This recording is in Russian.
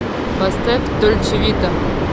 поставь дольче вита